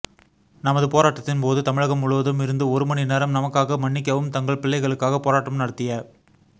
நமது போராட்டத்தின் போது தமிழகம் முழுவதும் இருந்து ஒருமணி நேரம் நமக்காக மன்னிக்கவும் தங்கள் பிள்ளைகளுக்காக போராட்டம் நடத்திய